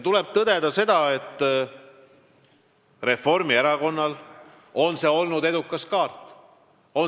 Tuleb tõdeda, et see käik on olnud Reformierakonna jaoks edukas kaart.